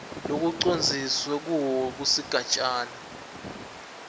lekucondziswe kuwo kusigatjana